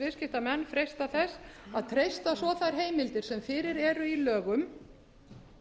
viðskiptanefnd freista þess að treysta svo þær heimildir sem fyrir eru í lögum